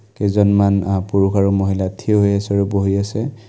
কেইজনমান আ পুৰুষ আৰু মহিলা থিয় হৈ আছে আৰু বহি আছে।